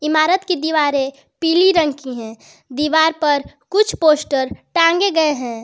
इमारत की दीवारें पीली रंग की है दीवार पर कुछ पोस्टर टांगे गए हैं।